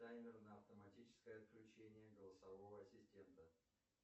таймер на автоматическое отключение голосового ассистента